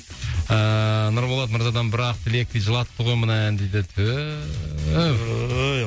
ыыы нұрболат мырзадан бір ақ тілек дейді жылатты ғой мына ән дейді